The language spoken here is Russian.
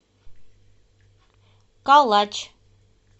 калач